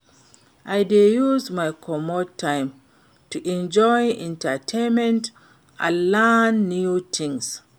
I dey use my commute time to enjoy entertainment and learn new things.